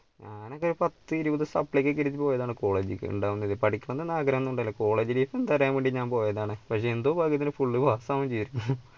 ഞാനൊക്കെ പത്തിരുപത് supply ഒക്കെ college ലേക്ക് പഠിക്കണമെന്ന ആഗ്രഹം ഒന്നും ഉണ്ടായില്ല college life എന്താന്നറിയാൻ വേണ്ടി ഞാൻ പോയതാണ് പക്ഷേ എന്തോ ഭാഗ്യത്തിന് full pass ആവുകയും ചെയ്തിരിന്ന്.